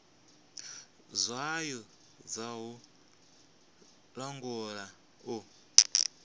tswayo dza u langula u